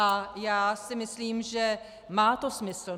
A já si myslím, že to má smysl.